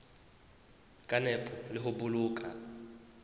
ka nepo le ho boloka